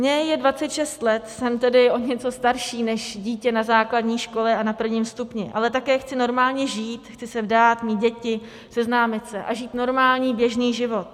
Mně je 26 let, jsem tedy o něco starší než dítě na základní škole a na prvním stupni, ale také chci normálně žít, chci se vdát, mít děti, seznámit se a žít normální, běžný život.